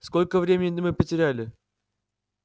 сколько времени мы потеряли